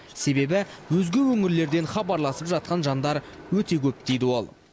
себебі өзге өңірлерден хабарласып жатқан жандар өте көп дейді ол